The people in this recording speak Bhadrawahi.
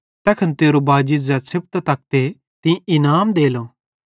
ताके तेरू दान छ़प्पोरू भोए तैखन तेरो बाजी ज़ै छ़ेपतां तकते तीं इनाम देलो